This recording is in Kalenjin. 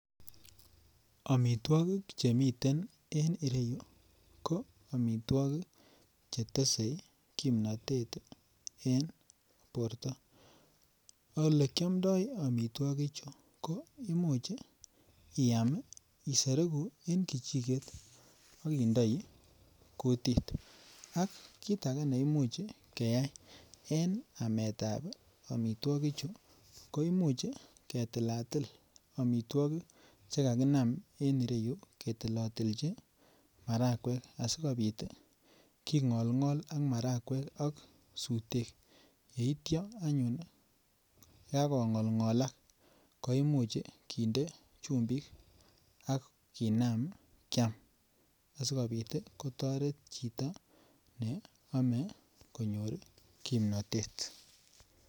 Omitwokik chemiten en iroyuu ko omitwokik chetese kimnotet en borto. Ole kiomdo omitwokik chuu ko imuch iam isoroku en kechiket ak indoi kutit, kit age neimuch keyai en ametab omitwokik chuu ko imuch ketilatil omitwokik chekakonam en ireyuu ketilotilchi marakwek asikopit tii kingolgol ak marakwek ak sutet yeityo anyun kakongolngolak ko imuch kinde chumbik ak kinam kiam asikopit tii kotoreti chito ne ome konyor kipnotet.